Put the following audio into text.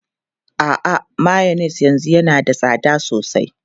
A'a, mayonnaise yanzu yana da tsada sosai.